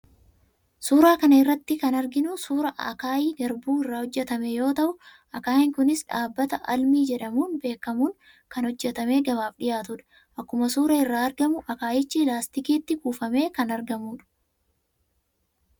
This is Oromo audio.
Suuraa kana irratti kan arginu suuraa akaayii garbuu irraa hojjetame yoo ta'u, akaayiin kunis dhaabbata 'Almi' jedhamuun beekamuun kan hojjetamee gabaaf dhiyaatudha. Akkuma suuraa irraa argamu akaayichi laastikiitti kuufamee kan argamudha.